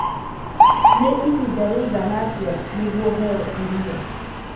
nĩ ihinda rĩigana atĩa nĩguo heo irio